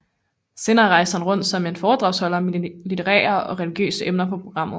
Senere rejste han rundt som foredragsholder med litterære og religiøse emner på programmet